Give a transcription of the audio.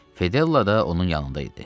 Fedella da onun yanında idi.